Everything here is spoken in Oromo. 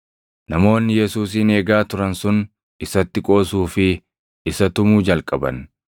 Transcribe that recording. Namoonni Yesuusin eegaa turan sun isatti qoosuu fi isa tumuu jalqaban.